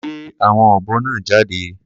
Gbé àwọn ọ̀bọ náà jáde.